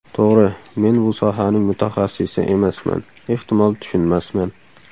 To‘g‘ri, men bu sohaning mutaxassisi emasman, ehtimol, tushunmasman.